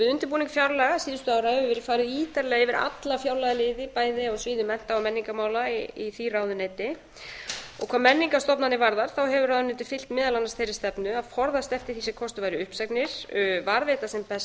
við undirbúning fjárlaga síðustu ára hefur verið farið ítarlega yfir alla fjárlagaliði bæði á sviði mennta og menningarmála í því ráðuneyti og hvað menningarstofnanir varðar hefur ráðuneytið fylgt meðal annars þeirri stefnu að forðast eftir því sem kostur væri uppsagnir varðveita sem best